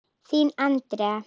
Þín Andrea.